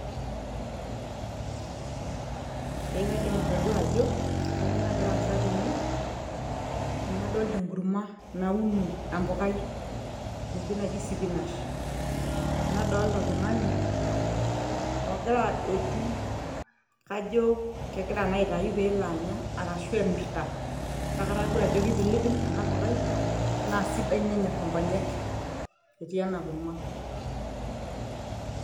ee kaidim atodua ajo kanyoo nagira aasa tene amu adolta enkurma nauno empukai enoshi naji sipinash nadolta oltung'ani ogira adotu kajo kegira naa aitayu peelo anya ashu emirrta kake atadua ajo kipilipil ena pukai naa sidai nenyorr inkonyek etii ena kurma.